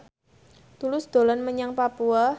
Tulus dolan menyang Papua